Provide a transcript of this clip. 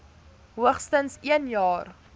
hoogstens een jaar